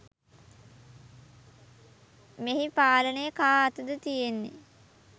මෙහි පාලනය කා අතද තියෙන්නේ